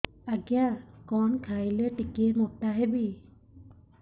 ଆଜ୍ଞା କଣ୍ ଖାଇଲେ ଟିକିଏ ମୋଟା ହେବି